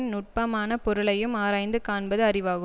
நுட்பமானப் பொருளையும் ஆராய்ந்து காண்பது அறிவாகும்